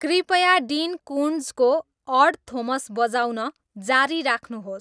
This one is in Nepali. कृपया डिन कुन्ट्जको अड थोमस बजाउन जारी राख्नुहोस्